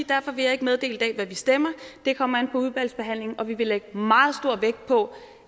derfor vil jeg ikke meddele i dag hvad vi stemmer det kommer an på udvalgsbehandlingen og vi vil lægge meget stor vægt på